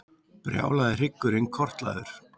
Brjálaði hryggurinn kortlagður